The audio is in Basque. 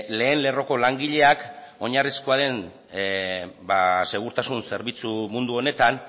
lehen lerroko langileak oinarrizkoa den segurtasun zerbitzu mundu honetan